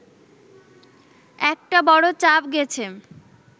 একটা বড় চাপ গেছে